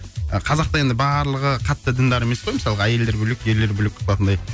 қазақ та енді барлығы қатты діндар емес қой мысалға әйелдер бөлек ерлер бөлек қылатындай